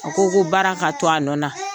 A ko ko baara ka to a nɔ na.